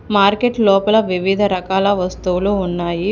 Market లోపల వివిధ రకాల వస్తువులు ఉన్నాయి.